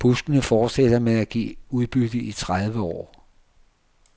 Buskene fortsætter med at give udbytte i tredive år.